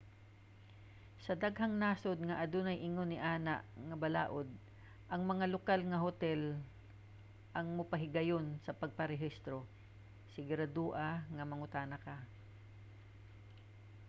sa daghang nasod nga adunay ingon niana nga balaud ang mga lokal nga hotel ang mopahigayon sa pagparehistro sigurado-a nga mangutana ka